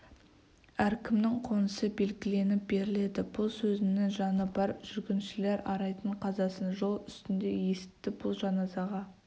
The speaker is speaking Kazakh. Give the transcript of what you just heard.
әркімнің қонысы белгіленіп беріледі бұл сөзіңнің жаны бар жүргіншілер арайдың қазасын жол үстінде есітті бұл жаназаға